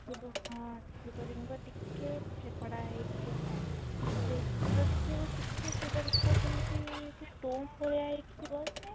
ସେ ଶିବ ହଁ ସେ ଶିବ ଲିଙ୍ଗ ଟିକେ ହେଇକି ଥାଏ ଦେଖିବୁ ଟିକେ ଶିବ ଲିଙ୍ଗ ରେ ସେମିତି ସେ ହେଇକି ଥିବ